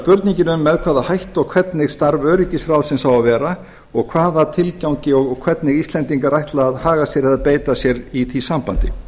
spurningin um með hvaða hætti og hvernig starf öryggisráðsins á að vera og hvaða tilgangi og hvernig íslendingar ætla að haga sér og beita sér í því sambandi